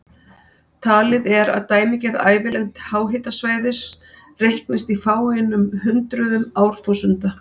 Talið er að dæmigerð ævilengd háhitasvæðis reiknist í fáeinum hundruðum árþúsunda.